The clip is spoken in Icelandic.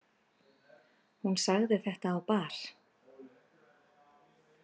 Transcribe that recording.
Hún sagði þetta á bar.